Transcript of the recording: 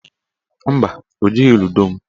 Mba, o jighị ludo m.